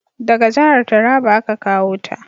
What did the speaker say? Daga jahar Taraba a ka kawo ta